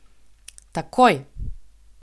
Takoj!